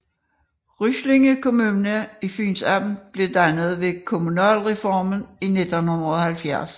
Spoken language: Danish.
Ryslinge Kommune i Fyns Amt blev dannet ved kommunalreformen i 1970